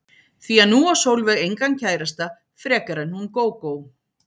Því að nú á Sólveig engan kærasta frekar en hún Gógó.